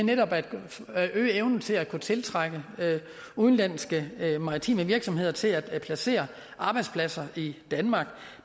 at øge evnen til at kunne tiltrække udenlandske maritime virksomheder til at placere arbejdspladser i danmark